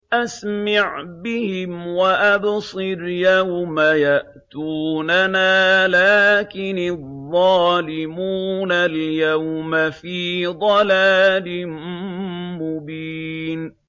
أَسْمِعْ بِهِمْ وَأَبْصِرْ يَوْمَ يَأْتُونَنَا ۖ لَٰكِنِ الظَّالِمُونَ الْيَوْمَ فِي ضَلَالٍ مُّبِينٍ